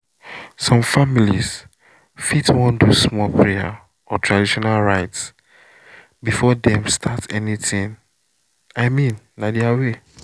some families fit want do small prayer or traditional rites before dem start anything — i mean na their way